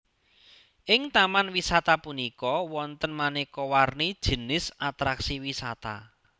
Ing Taman wisata punika wonten manéka warni jinis atraksi wisata